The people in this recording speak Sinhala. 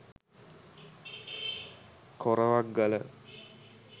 korawak gala